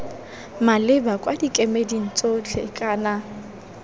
maleba kwa dikemeding tsotlhe kana